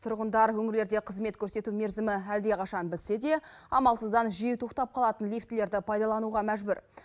тұрғындар өңірлерде қызмет көрсету мерзімі әлдеқашан бітсе де амалсыздан жиі тоқтап қалатын лифтілерді пайдалануға мәжбүр